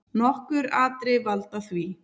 Nokkur atriði valda því.